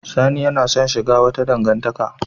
Sani yana son shiga wata dangantaka.